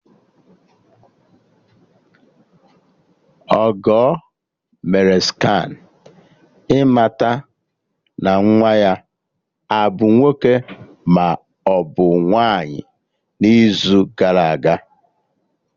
Ọgọ mee scanụ ịmata ma nwa ya abụ nwoke maọbụ nwaanyị n'izu gara aga